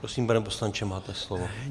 Prosím, pane poslanče, máte slovo.